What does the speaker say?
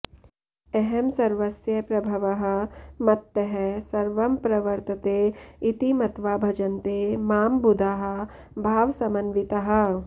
अहं सर्वस्य प्रभवः मत्तः सर्वं प्रवर्तते इति मत्वा भजन्ते मां बुधाः भावसमन्विताः